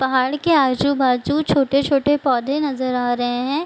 पहाड़ के आजू-बाजू छोटे-छोटे पौधे नज़र आ रहे हैं।